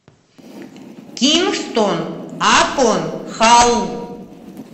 кингстон апон халл